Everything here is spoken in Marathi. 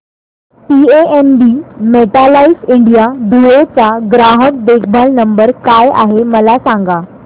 पीएनबी मेटलाइफ इंडिया धुळे चा ग्राहक देखभाल नंबर काय आहे मला सांगा